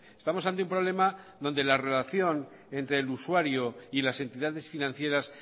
estamos ante un problema donde la relación entre el usuario y las entidades financieras